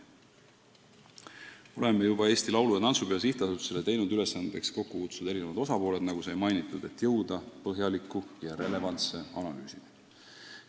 Nagu mainitud, oleme juba Eesti Laulu- ja Tantsupeo SA-le teinud ülesandeks asjaomased osapooled kokku kutsuda, et jõuda põhjaliku ja relevantse analüüsini.